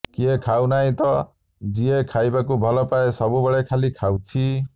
କିଏ ଖାଉ ନାହିଁ ତ ଯିଏ ଖାଇବାକୁ ଭଲପାଏ ସବୁବେଳେ ଖାଲି ଖାଉଛି